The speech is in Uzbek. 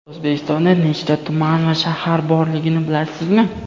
O‘zbekistonda nechta tuman va shahar borligini bilasizmi?.